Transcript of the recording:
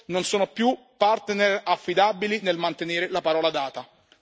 Ne va della nostra sicurezza, come lei ha detto, e non solo del nostro commercio.